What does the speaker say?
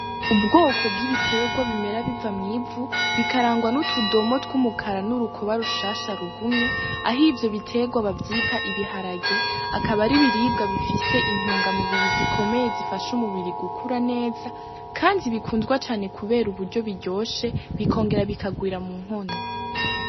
Ubwoko bw'ibitegwa bimera biva mw'ivu bikarangwa n'utudomo tw'umukara n'urukoba rushasha rugumye aho ivyo bitegwa bavyita ibiharage akaba ari ibiribwa bifise intunga mubiri zikomeye zifasha umubiri gukura neza kandi bikundwa cane kubera uburyo biryoshe bikongera bikagwira munkono.